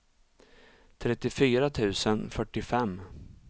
trettiofyra tusen fyrtiofem